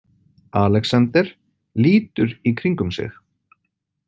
Alexander lítur í kringum sig.